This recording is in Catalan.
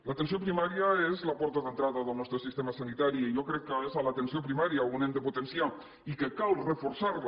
l’atenció primària és la porta d’entrada del nostre sistema sanitari i jo crec que és a l’atenció primària on hem de potenciar i que cal reforçar la